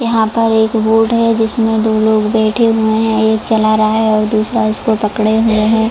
यहां पर एक बोट है जिसमें दो लोग बैठे हुए हैं एक चल रहा है और दूसरा इसको पकड़े हुए है।